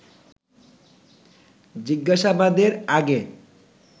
জিজ্ঞাসাবাদের আগে